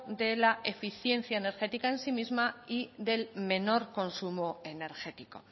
de la eficiencia energética en sí misma y del menor consumo energético